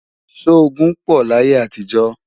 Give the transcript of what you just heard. sọ ogún pò láyé àtijọ?